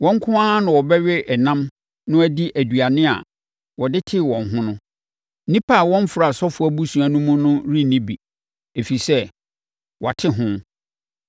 Wɔn nko ara na wɔbɛwe ɛnam no adi nnuane a wɔde tee wɔn ho no. Nnipa a wɔmfra asɔfoɔ abusua no mu no renni bi, ɛfiri sɛ, wɔate ho.